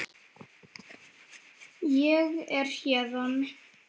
Ég er héðan